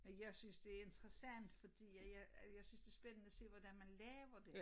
Men jeg synes det interessant fordi at jeg at jeg synes det er spændende at se hvordan man laver det